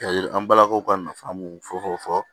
An balakaw ka nafa mun fɔ